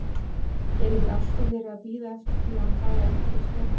Er ekki alltaf verið að bíða eftir því að hann fái endalaus fjárráð?